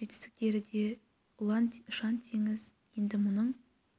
жетістіктері де ұлан ұшан-теңіз енді мұның